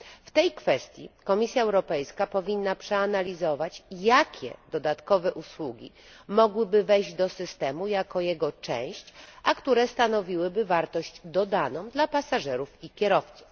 W tej kwestii Komisja Europejska powinna przeanalizować, jakie dodatkowe usługi mogłyby wejść do systemu jako jego część, a które stanowiłyby wartość dodaną dla pasażerów i kierowców.